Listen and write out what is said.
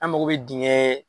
An mago bɛ dingɛ